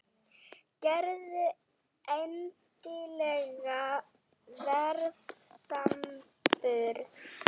Gerðu endilega verðsamanburð!